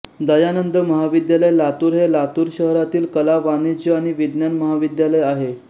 दयानंद महाविद्यालय लातूर हे लातूर शहरातील कला वाणिज्य आणि विज्ञान महाविद्यालय आहे